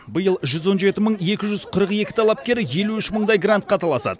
биыл жүз он жеті мың екі жүз қырық екі талапкер елу үш мыңдай грантқа таласады